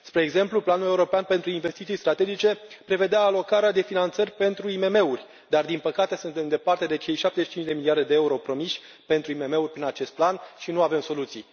Spre exemplu, Fondul european pentru investiții strategice prevedea alocarea de finanțări pentru IMM uri, dar, din păcate, suntem departe de cei 75 de miliarde EUR promiși pentru IMM uri prin acest plan și nu avem soluții.